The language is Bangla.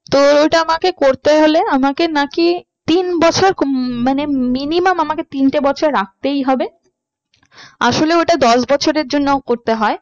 তো ওটা আমাকে করতে হলে আমাকে নাকি তিন বছর উম মানে minimum আমাকে তিনটে বছর রাখতেই হবে আসলে ওটা দশ বছরের জন্য করতে হয়